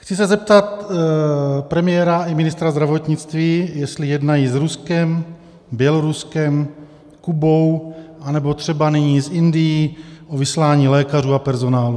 Chci se zeptat premiéra i ministra zdravotnictví, jestli jednají s Ruskem, Běloruskem, Kubou anebo třeba nyní s Indií o vyslání lékařů a personálu.